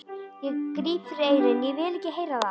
Ég gríp fyrir eyrun, ég vil ekki heyra það!